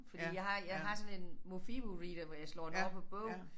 Fordi jeg har jeg har sådan en Mofibo Reader hvor jeg slår det over på bogen